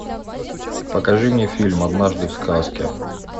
покажи мне фильм однажды в сказке